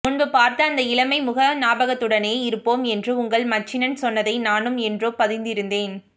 முன்பு பார்த்த அந்த இளமை முக ஞாபகத்துடனேயே இருப்போம் என்று உங்கள் மச்சினன் சொன்னதை நானும் என்றோ பதிந்திருந்தேன்